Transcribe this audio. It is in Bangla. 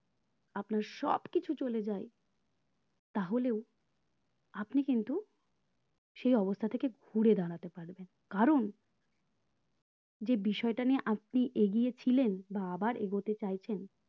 আপনার সবকিছুই চলে যাই চলে যাই তাহলে আপনি কিন্তু সেই অবস্থা থেকে ঘুরে দাঁড়াতে পারবেন কারণ যে বিষয়টা নিয়ে আপনি এগিয়ে ছিলেন বা আবার এগোতে চাইছেন